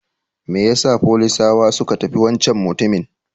Mai yasa folisawa suka tafi wancan mutumin?